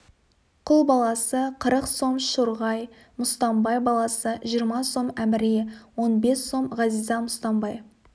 құл баласы қырық сом шырғай мұстамбай баласы жиырма сом әміре он бес сом ғазиза мұстамбай